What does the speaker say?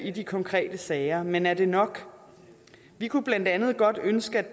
i de konkrete sager men er det nok vi kunne blandt andet godt ønske